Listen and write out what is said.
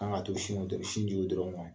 An ka demisɛnniw dɔ bi sin di o dɔrɔn man?